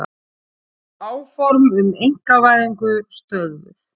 Áform um einkavæðingu stöðvuð